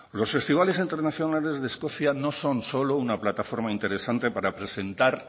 los festivales internacionales de escocia no son solo una plataforma interesante para presentar